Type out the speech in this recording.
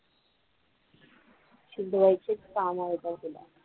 चिडवायचीच कामं येतात तुला.